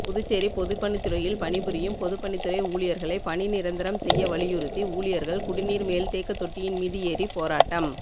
புதுச்சேரி பொதுப்பணித்துறையில் பணிபுரியும் பொதுப்பணித்துறை ஊழியர்களை பணி நிரந்தரம் செய்யவலியுருத்தி ஊழியர்கள் குடிநீர் மேல்தேக்க தொட்டியின் மீது ஏறி போராட்டம்